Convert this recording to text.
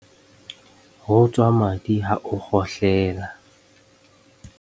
Ho tswa madi ha o kgohle la.